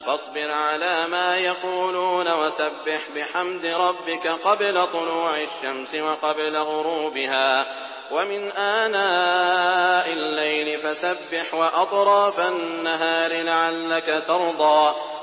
فَاصْبِرْ عَلَىٰ مَا يَقُولُونَ وَسَبِّحْ بِحَمْدِ رَبِّكَ قَبْلَ طُلُوعِ الشَّمْسِ وَقَبْلَ غُرُوبِهَا ۖ وَمِنْ آنَاءِ اللَّيْلِ فَسَبِّحْ وَأَطْرَافَ النَّهَارِ لَعَلَّكَ تَرْضَىٰ